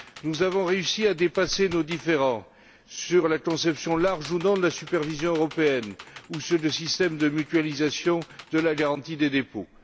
Nous avons réussi à dépasser nos différends sur la conception large ou non de la supervision européenne, ou sur le système de mutualisation de la garantie des dépôts.